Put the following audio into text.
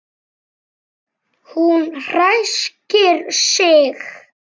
Hún ræskir sig.